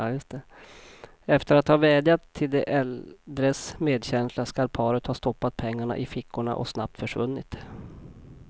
Efter att ha vädjat till de äldres medkänsla skall paret ha stoppat pengarna i fickorna och snabbt försvunnit.